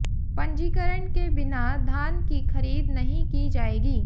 पंजीकरण के बिना धान की खरीद नहीं की जाएगी